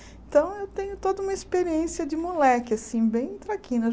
Então, eu tenho toda uma experiência de moleque, assim, bem traquina.